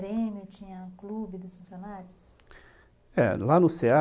lá tinha grêmio, tinha clube dos funcionários? É, lá no cê a